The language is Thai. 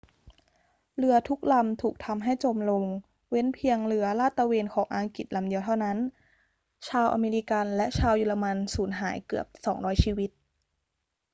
เรือทุกลำถูกทำให้จมลง เว้นเพียงเรือลาดตระเวนของอังกฤษลำเดียวเท่านั้น ชาวอเมริกันและชาวเยอรมันสูญหายเกือบ 200 ชีวิต